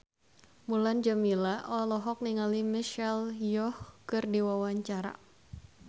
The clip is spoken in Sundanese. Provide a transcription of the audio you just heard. Mulan Jameela olohok ningali Michelle Yeoh keur diwawancara